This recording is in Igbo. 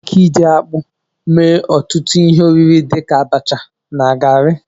Enwere ike iji akpụ mee ọtụtụ ihe oriri dịka abacha na garị